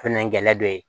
Fɛnɛ gɛlɛ dɔ ye